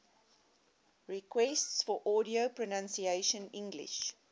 requests for audio pronunciation english